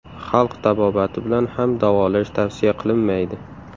Xalq tabobati bilan ham davolash tavsiya qilinmaydi.